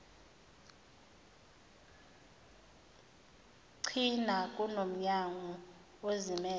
china kunomnyango ozimmele